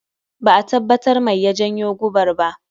Ba'a tabbatar mai ya janyo gobar ba